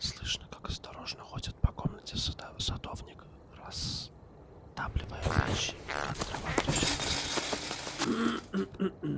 слышно как осторожно ходит по комнатам садовник растапливая печи и как дрова трещат и стреляют